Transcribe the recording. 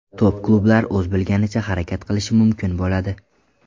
Top-klublar o‘z bilganicha harakat qilishi mumkin bo‘ladi.